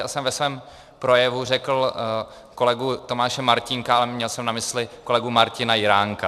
Já jsem ve svém projevu řekl kolegu Tomáše Martínka, ale měl jsem na mysli kolegu Martina Jiránka.